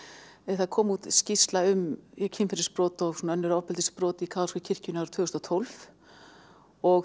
það kom út skýrsla um kynferðisbrot og önnur ofbeldisbrot í kaþólsku kirkjunni árið tvö þúsund og tólf og